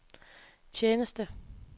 tjeneste